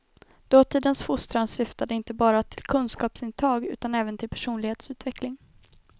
Dåtidens fostran syftade inte bara till kunskapsintag utan även till personlighetsutveckling.